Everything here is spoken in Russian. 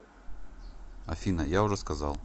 афина я уже сказал